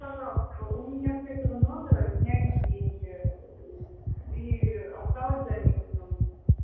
пожалуйста у меня с этого номера сняли деньги и осталось до минусом